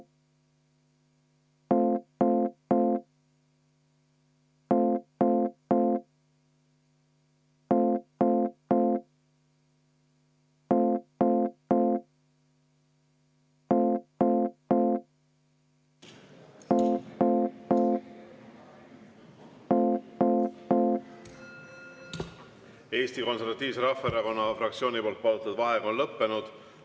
Eesti Konservatiivse Rahvaerakonna fraktsiooni palutud vaheaeg on lõppenud.